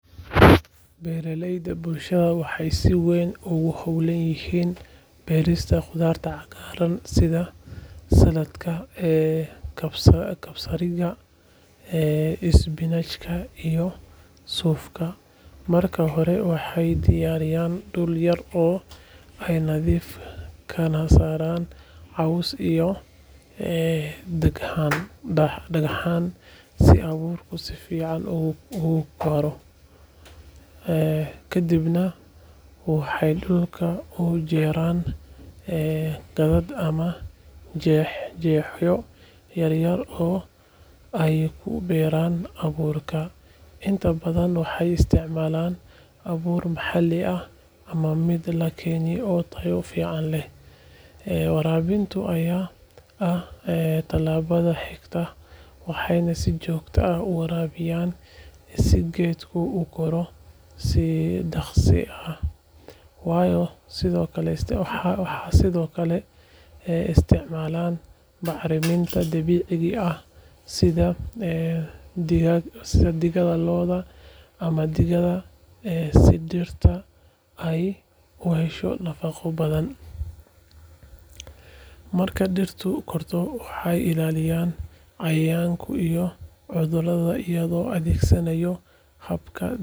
Beeraleyda bulshada waxay si weyn ugu hawlan yihiin beerista khudaar cagaaran sida saladhka, kabsariga, isbinaajka iyo suufka. Marka hore, waxay diyaariyaan dhul yar oo ay nadiifiyaan kana saaraan caws iyo dhagxaan si abuurku si fiican ugu koro. Kadibna waxay dhulka u jeexaan khadad ama jeex-jeexyo yaryar oo ay ku beeraan abuurka. Inta badan waxay isticmaalaan abuur maxalli ah ama mid la keeno oo tayo fiican leh. Waraabinta ayaa ah tallaabada xigta, waxayna si joogto ah u waraabiyaan si geeduhu u koraan si dhakhso leh. Waxay sidoo kale isticmaalaan bacriminta dabiiciga ah sida digada lo’da ama digaagga si dhirta ay u hesho nafaqo badan. Marka dhirtu korto, waxay ilaaliyaan cayayaanka iyo cudurrada iyagoo adeegsanaya hababka dabiiciga ah.